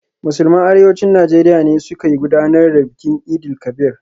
Musulman Arewacin Najeriya ne suka gudanar da bikin Eid-el-Kabir.